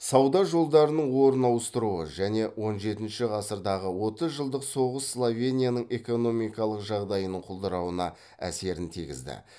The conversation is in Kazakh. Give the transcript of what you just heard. сауда жолдарының орын ауыстыруы және он жетінші ғасырдағы отыз жылдық соғыс словенияның экономикалық жағдайының құлдырауына әсерін тигізді